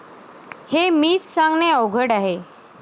हे मीच सांगणे अवघड आहे.